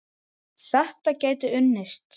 Þetta gæti unnist.